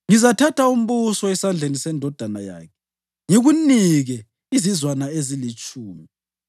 Ngizathatha umbuso esandleni sendodana yakhe ngikunike izizwana ezilitshumi.